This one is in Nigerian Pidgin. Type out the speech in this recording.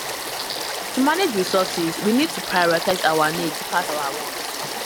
to manage resources we need to prioritize our needs pass our want